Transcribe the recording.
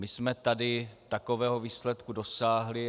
My jsme tady takového výsledku dosáhli.